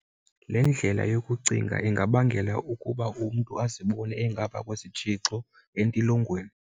Le ndlela yokucinga ingabangela ukuba umntu azibone engaphaa kwesitshixo, entilongweni.